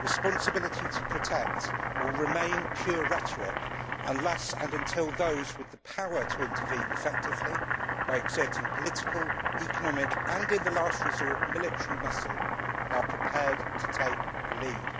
'Responsibility to protect will remain pure rhetoric unless and until those with the power to intervene effectively by exerting political, economic and in the last resort, military muscle are prepared to take the lead'.